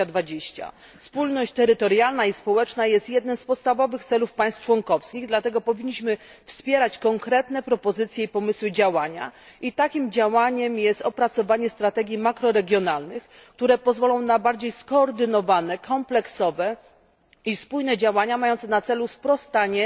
2020. Spójność terytorialna i społeczna jest jednym z podstawowych celów państw członkowskich, dlatego powinniśmy wspierać konkretne propozycje i pomysły działania i takim działaniem jest opracowanie strategii makroregionalnych, które pozwolą na bardziej skoordynowane, kompleksowe i spójne działania, mające na celu sprostanie